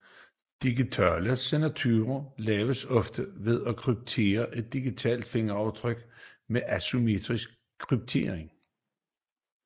Digitale signaturer laves ofte ved at kryptere et digitalt fingeraftryk med asymmetrisk kryptering